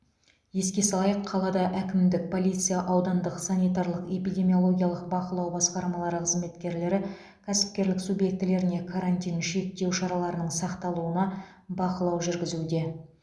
еске салайық қалада әкімдік полиция аудандық санитарлық эпидемиологиялық бақылау басқармалары қызметкерлері кәсіпкерлік субъектілеріне карантин және шектеу шараларының сақталуына бақылау жүргізуде